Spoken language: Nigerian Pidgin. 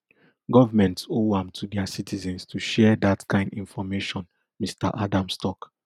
governments owe am to dia citizens to share dat kain information mr adams tok